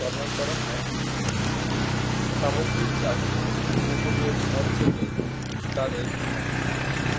ব্যবহার করা হয় সামুদ্রিক ঘাস উপকূলীয় ঝড় থেকে তাদের